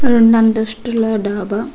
ఆ రెండు అంతస్థుల డాబా --